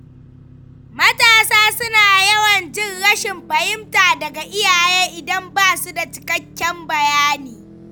Matasa suna yawan jin rashin fahimta daga iyaye idan ba su da cikakken bayani.